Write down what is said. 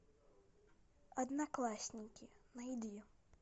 одноклассники найди